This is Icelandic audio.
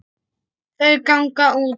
Þau ganga út.